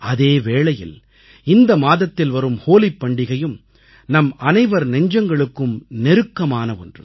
அதே வேளையில் இந்த மாதத்தில் வரும் ஹோலிப் பண்டிக்கையும் நம்மனைவர் நெஞ்சங்களுக்கும் நெருக்கமான ஒன்று